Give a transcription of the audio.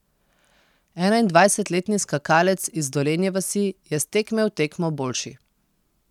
Enaindvajsetletni skakalec iz Dolenje vasi je s tekme v tekmo boljši.